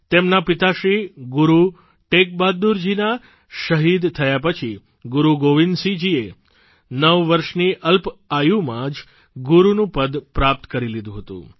તેમના પિતાશ્રી ગુરૂ તેગ બહાદુરજીના શહીદ થયા પછી ગુરૂ ગોવિંદસિંહજીએ નવ વર્ષની અલ્પઆયુમાં જ ગુરૂનું પદ પ્રાપ્ત કરી લીધું હતું